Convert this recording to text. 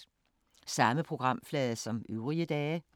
Samme programflade som øvrige dage